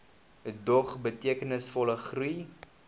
dog betekenisvolle groei